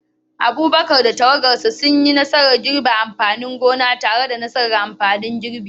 Abubakar da tawagarsa sun yi nasarar girbin amfanin gonar tare da taimakon na'urar girbi,